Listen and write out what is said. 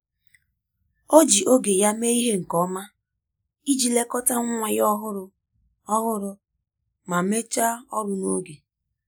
Ọ ji oge ya mee ihe nke ọma iji lekọta nwa ya ọhụrụ ọhụrụ ma mechaa ọrụ n'oge.